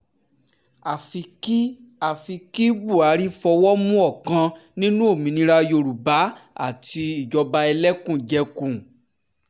àfi kí àfi kí buhari fọwọ́ mú ọ̀kan nínú òmìnira yorùbá àti ìjọba ẹlẹ́kùn-jẹkùn